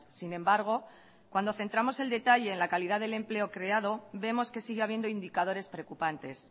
sin embargo cuando centramos el detalle en la calidad del empleo creado vemos que sigue habiendo indicadores preocupantes